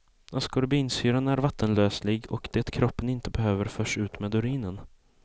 Askorbinsyran är vattenlöslig och det kroppen inte behöver förs ut med urinen.